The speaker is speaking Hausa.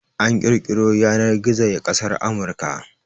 An kirkiro Yanar-gizo ya kasar Amurka